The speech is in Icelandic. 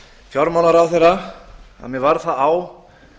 fjármálaráðherra að mér varð það á